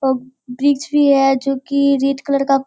ओ bridge भी है जो की रेड कलर का --